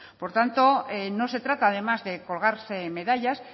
por tanto no se trata además de colgarse medallas